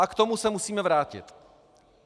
A k tomu se musíme vrátit.